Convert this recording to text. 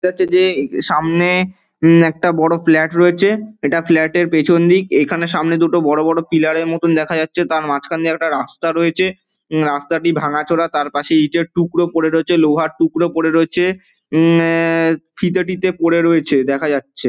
দেখা যাচ্ছে যে সামনে হু একটা বড়ো ফ্ল্যাট রয়েছে। এটা ফ্ল্যাট -এর পেছন দিক। এই খানে সামনে দুটো বড়ো বড়ো পিলার -এর মতো দেখা যাচ্ছে। তার মাঝ খান দিয়ে একটা রাস্তা রয়েছে। রাস্তাটি ভাঙা চোরা। তার পাশে ইঁটের টুকরো পড়ে রয়েছে। লোহার টুকরো পড়ে রয়েছে। উম এ এ ফিতে টিতে পরে রয়েছে দেখা যাচ্ছে।